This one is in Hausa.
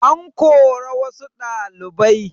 An kora wassu ɗalibai